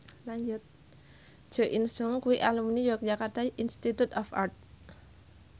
Jo In Sung kuwi alumni Yogyakarta Institute of Art